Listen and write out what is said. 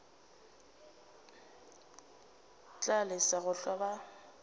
tla lesa go hlwa a